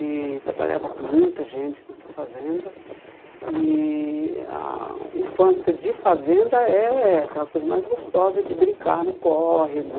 E trabalhava com muita gente nessa fazenda E a infância de fazenda é aquela coisa mais gostosa de brincar no córrego